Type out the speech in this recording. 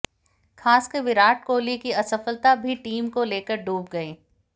खासकर विराट कोहली की असफलता भी टीम को लेकर डूब गई